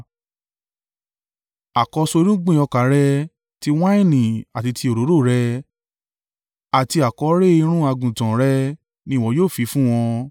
Àkọ́so irúgbìn ọkà rẹ, ti wáìnì àti ti òróró rẹ, àti àkọ́rẹ́ irun àgùntàn rẹ ni ìwọ yóò fi fún wọn.